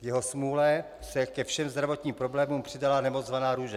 K jeho smůle se ke všem zdravotním problémům přidala nemoc zvaná růže.